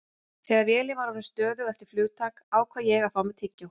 Þegar vélin var orðin stöðug eftir flugtak ákvað ég að fá mér tyggjó.